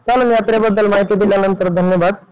यात्रेबद्दल माहिती दिल्याबद्दल धन्यवाद!